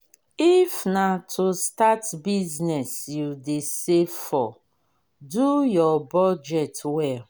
if na to start business you dey save for do your budget well